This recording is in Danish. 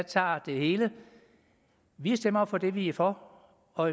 tager det hele vi stemmer for det vi er for og